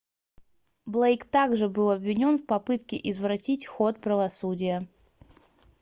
блейк так же был обвинён в попытке извратить ход правосудия